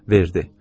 Verdi.